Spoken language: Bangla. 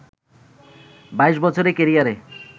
২২ বছরের ক্যারিয়ারে